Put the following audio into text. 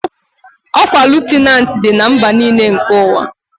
Okwa lutenanti Di na mba n'ile nke uwa